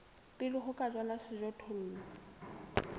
pele ho ka jalwa sejothollo